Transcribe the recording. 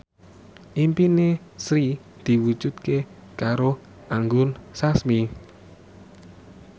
impine Sri diwujudke karo Anggun Sasmi